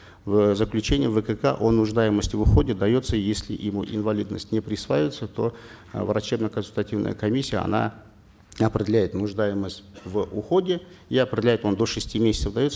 в заключении вкк о нуждаемости в уходе дается если ему инвалидность не присваивается то э врачебно консультативная комиссия она определяет нуждаемость в уходе и определяет он до шести месяцев дается